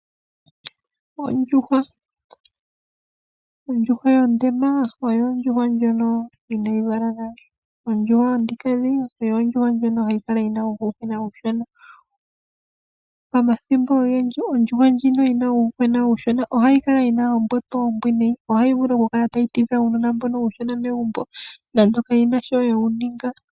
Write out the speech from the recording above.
Ondjuhwa, Ondjuhwa yondema oyo Ondjuhwa ndjono inayi vala nale. Okandhindjuhwa oyo Ondjuhwa ndjono hayi kala yi na uuyuhwena uushona. Pamathimbo ogendji ondjuhwa ndjino yi na uuyuhwena uushona ohayi kala yi na ombepo ombwiinayi. Ohayi vulu oku kala tayi tidha uunona mbono uushona megumbo nando kawu na sho weyi ninga.